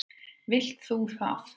Vilt þú það?